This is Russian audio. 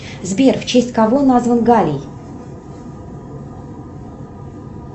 сбер в честь кого назван галий